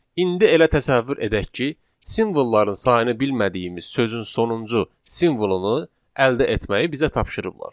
İndi elə təsəvvür edək ki, simvolların sayını bilmədiyimiz sözün sonuncu simvolunu əldə etməyi bizə tapşırıblar.